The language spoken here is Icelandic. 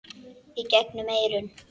Í gegnum eyrun.